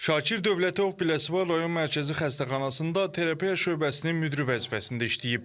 Şakir Dövlətov Biləsuvar rayon Mərkəzi Xəstəxanasında terapiya şöbəsinin müdiri vəzifəsində işləyib.